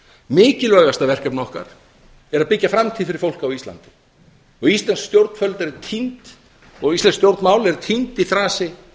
mikilvægasta verkefni okkar er að byggja framtíð fyrir fólk á íslandi íslensk stjórnvöld og íslensk stjórnmál eru týnd í þrasi